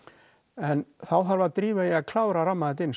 en þá þarf að drífa í að klára að ramma þetta inn